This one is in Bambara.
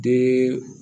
Den